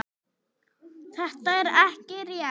Þetta er ekki rétt.